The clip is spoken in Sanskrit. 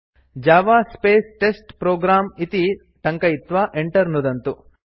जव स्पेस् टेस्टप्रोग्राम् इति टङ्कयित्वा Enter नुदन्तु